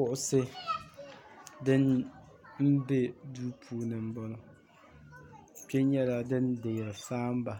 kuɣisi din be duu puuni m-bɔŋɔ kpe nyɛla din deeri saamba